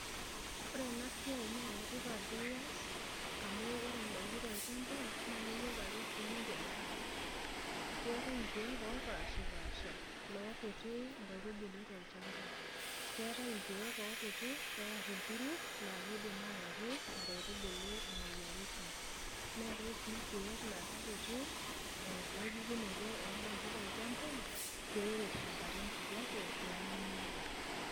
Ore enasiai nenetipat piyas amu ore ndakin tolchamba nakeyieu ake sinche neramati, keetai irkiek opashipasha nkaitubulu tolchamba, keatae irkiek okuti pear orkuluk nkaitubulu, neatae si rkiek lakekuti nkaitubulu tolchamba peer tenkalo enkijape pemeinyala.